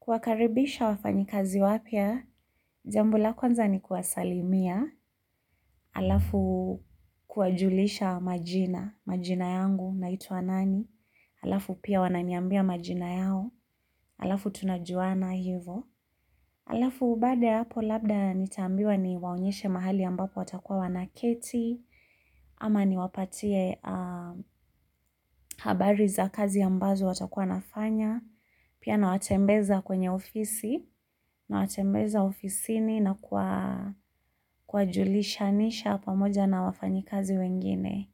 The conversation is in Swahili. Kuwakaribisha wafanyikazi wapya, jambo la kwanza ni kuwasalimia, halafu kuwajulisha majina, majina yangu naitwa nani, halafu pia wananiambia majina yao, halafu tunajuana hivo. Alafu baada hapo labda nitambiwa niwaunyeshe mahali ambapo watakuwa wanaketi, ama niwapatie habari za kazi ambazo watakuwa nafanya, pia na watembeza kwenye ofisi, na watembeza ofisini na kuwajulisha nisha pamoja na wafanyi kazi wengine.